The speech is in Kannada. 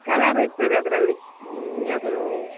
Color ಇರ್ತದೆ ಅದ್ರಲ್ಲಿ ಹ್ಮ್ ನಿನ್ಗೆ ಅದು.